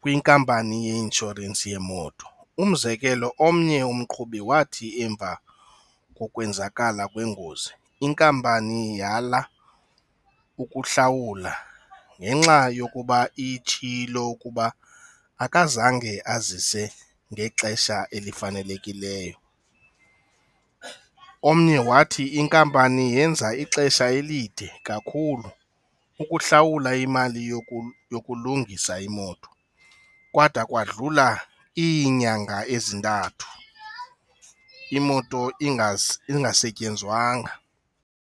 kwinkampani yeeisnhorensi yemoto. Umzekelo omnye umqhubi wathi emva kokwenzakala kwengozi, inkampani yala ukuhlawula ngenxa yokuba itshilo ukuba akazange azise ngexesha elifanelekileyo. Omnye wathi inkampani yenza ixesha elide kakhulu ukuhlawula imali yokulungisa imoto kadwa kwadlula iinyanga ezintathu imoto ingasetyenzwanga.